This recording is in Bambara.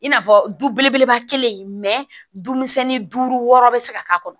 I n'a fɔ du belebeleba kelen misɛnnin duuru wɔɔrɔ be se ka k'a kɔnɔ